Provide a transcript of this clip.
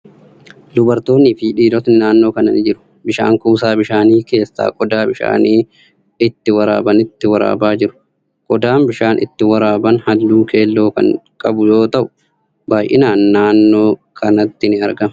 Dubartootni fi dhiirotni naannoo kana ni jiru. Bishaan kuusaa bishaanii keessaa qodaa bishaan itti waraabanitti waraabaa jiru. Qodaan bishaan itti waraaban halluu keelloo kan qabu yoo ta'u, baay'inaan naannoo kanatti ni argama.